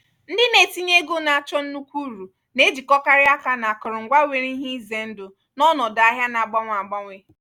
ndị na-etinye ego na-achọ nnukwu uru na-ejikọkarị aka na akụrụngwa nwere ihe ize ndụ n'ọnọdụ ahịa na agbanwe agbanwe.